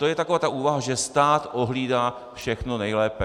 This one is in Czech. To je taková ta úvaha, že stát ohlídá všechno nejlépe.